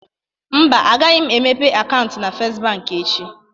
Mba, agaghị m emepe akaụntụ na First Bank echi